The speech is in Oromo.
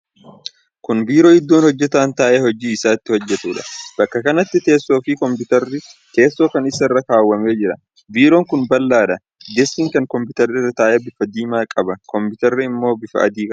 Kuni biiroo iddoo hojjataan taa'ee hojii isaa itti hojjatuudha. Bakka kanatti teessoon fi kompiitarri teessoo kan isaa irra kaawwamee jira. Biiroon kun bal'aadha. Deeskiin kan kompiitarri irra taa'e bifa diimaa qaba. Kompiitarri ammoo bifa adii qaba.